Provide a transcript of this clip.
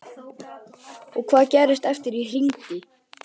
Og hvað gerðist eftir að ég hringdi?